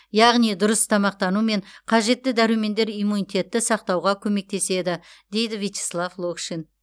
яғни дұрыс тамақтану мен қажетті дәрумендер иммунитетті сақтауға көмектеседі дейді вичеслав локшин